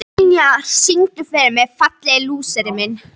Vinjar, syngdu fyrir mig „Fallegi lúserinn minn“.